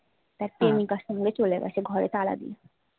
তার প্রেমিকার সঙ্গে চলে গেছে ঘরে তালা দিয়ে